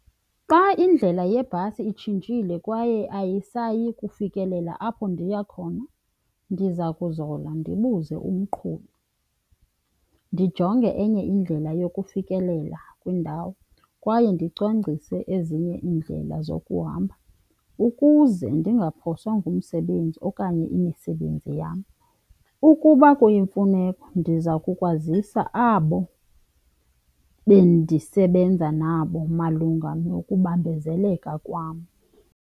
Xa indlela yebhasi itshintshile kwaye ayisayi kufikelela apho ndiya khona ndiza kuzola ndibuze umqhubi, ndijonge enye indlela yokufikelela kwiindawo kwaye ndicwangcise ezinye iindlela zokuhamba ukuze ndingaphoswa ngumsebenzi okanye imisebenzi yam. Ukuba kuyimfuneko ndiza kukwazisa abo bendisebenza nabo malunga nokubambezeleleka kwam.